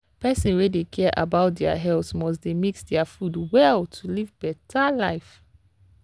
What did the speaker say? people wey dey care about their health must dey mix their food well to live better life.